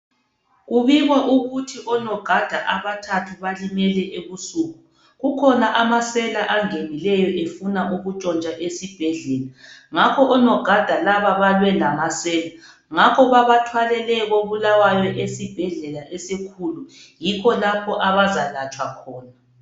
Kubikwa ukuthi onogada abathathu balimele ebusuku. Kukhona amasela angenileyo efuna ukutshontsha esibhedlela ngakho onogada laba balwe lamahlamvu. Ngakho babathwalele ko Bulawayo esibhedlela esikhulu yikho lapha abazalatshwa khona.